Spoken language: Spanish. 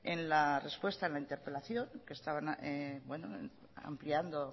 en la respuesta a la interpelación que estaba ampliando